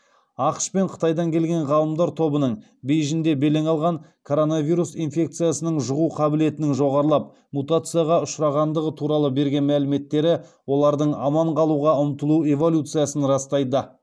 ақш пен қытайдан келген ғалымдар тобының коронавирус инфекциясының жұғу қабілетінің жоғарылап мутацияға ұшырағандығы туралы берген мәліметтері олардың аман қалуға ұмтылу эволюциясын растайды